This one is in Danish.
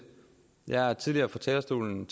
jeg har tidligere fra talerstolen